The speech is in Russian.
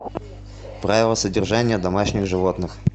правила содержания домашних животных